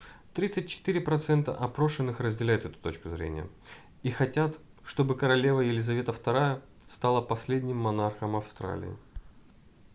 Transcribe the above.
34% опрошенных разделяют эту точку зрения и хотят чтобы королева елизавета ii стала последним монархом австралии